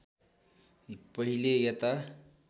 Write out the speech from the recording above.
पहिले यता